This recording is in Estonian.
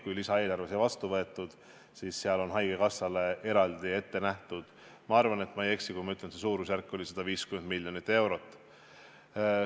Kui lisaeelarve sai vastu võetud, siis seal oli haigekassale eraldi ette nähtud – ma arvan, et ma ei eksi, kui ma ütlen – suurusjärgus 150 miljonit eurot.